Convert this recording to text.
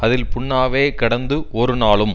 அதில் புண்ணாகவே கிடந்து ஒரு நாளும்